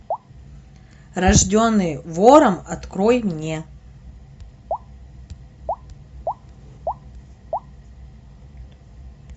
рожденный вором открой мне